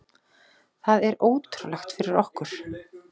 Það er ótrúlegt fyrir okkur.